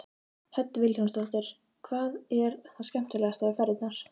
Hödd Vilhjálmsdóttir: Hvað er það skemmtilegasta við ferðirnar?